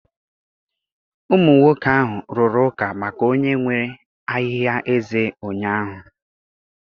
Ụmụ nwoke ahụ rụrụ ụka maka onye nwe ahịhịa eze ụnyahụ.